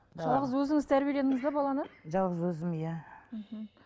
жалғыз өзіңіз тәрбиеледіңіз бе баланы жалғыз өзім иә мхм